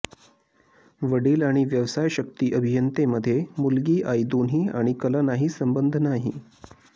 वडील आणि व्यवसाय शक्ती अभियंते मध्ये मुलगी आई दोन्ही आणि कला नाही संबंध नाही